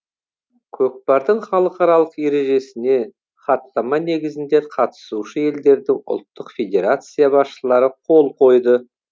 көкпардың халықаралық ережесіне хаттама негізінде қатысушы елдердің ұлттық федерация басшылары қол қойды